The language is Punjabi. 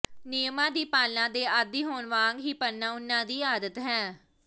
ਨਿਯਮਾਂ ਦੀ ਪਾਲਣਾ ਦੇ ਆਦੀ ਹੋਣ ਵਾਂਗ ਹੀ ਪੜ੍ਹਨਾ ਉਨ੍ਹਾਂ ਦੀ ਆਦਤ ਹੈ